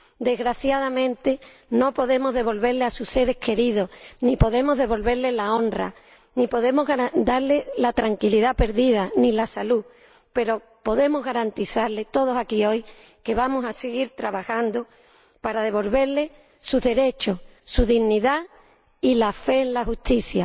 Desgraciadamente no podemos devolverles a sus seres queridos, ni podemos devolverles la honra, ni podemos darles la tranquilidad perdida, ni la salud, pero podemos garantizarles, todos aquí hoy, que vamos a seguir trabajando para devolverles sus derechos, su dignidad y la fe en la justicia.